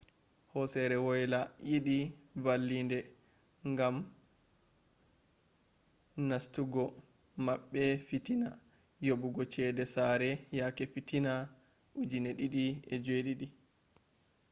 hosere woyla yidi vallinde gam nastugo mabbe fitina yobugo cede sare yake fitina 2007